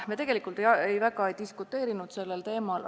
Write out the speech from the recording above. Me tegelikult väga ei diskuteerinud sellel teemal.